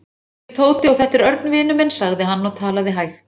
Ég heiti Tóti og þetta er Örn vinur minn sagði hann og talaði hægt.